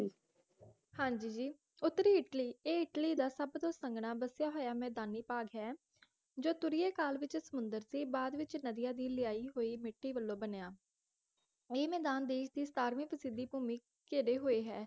ਹਾਂਜੀ ਜੀ ਉਤਰੀ ਇੱਟਲੀ ਇਹ ਇੱਟਲੀ ਦਾ ਸਭ ਤੋਂ ਸੰਘਣਾ ਬਸਿਆ ਹੋਇਆ ਮੈਦਾਨੀ ਭਾਗ ਹੈ ਜੋ ਤੁਰੀਏ ਕਾਲ ਵਿਚ ਸਮੁੰਦਰ ਦੀ ਬਾਦ ਵਿਚ ਨਦੀਆਂ ਦੀ ਲਿਆਈ ਹੋਈ ਮਿੱਟੀ ਵਲੋਂ ਬਣਿਆ ਇਹ ਮੈਦਾਨ ਦੇਸ਼ ਦੇ ਸਤਾਰਵੇਂ ਪ੍ਰਸਿਥੀ ਘੁੰਮੀ ਘੇਰੇ ਹੋਏ ਹੈ